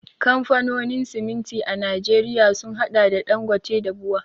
Kamfanonin siminti a Najeriya sun haɗa da Ɗangote da BUA.